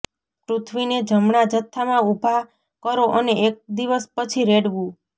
પૃથ્વીને જમણા જથ્થામાં ઉભા કરો અને એક દિવસ પછી રેડવું